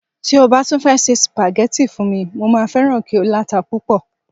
ti o ba tun fẹ se spaghetti fún mi, mo ma feran ki o lata pupo